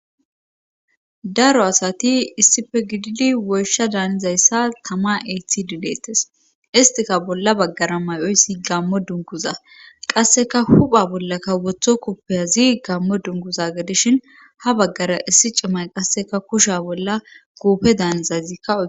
Daro asati issife gididi woysha daanizayssa tama eyth dileettes istika bolla baggara may7oyssi gammo dunguza qasseka hupha bollaka wotho kuppeyazi gammo dunguza gedishin ha baggara issi cimay qasseka kusha bolla guupe daanizayzikkaw.